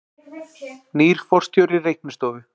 Nýr forstjóri Reiknistofu